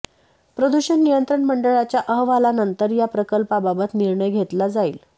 प्रदूषण नियंत्रण मंडळाच्या अहवालानंतर या प्रकल्पाबाबत निर्णय घेतला जाईल